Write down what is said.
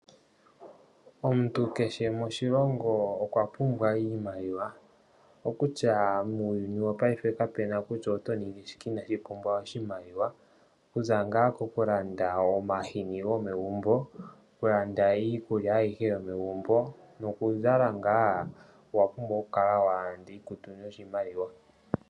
Omuntu kehe moshilongo okwa pumbwa iimaliwa, okutya muuyuni wopaife kapu na kutya oto ningi shike inaashi pumbwa oshimaliwa, okuza ngaa koku landa omahini gomegumbo, oku landa iikulya ayihe yomegumbo noku zala ngaa, owa pumbwa oku kala wa landa iikutu noshimaliwa.